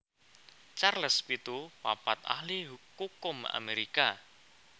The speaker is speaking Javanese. Charles pitu papat ahli kukum Amerika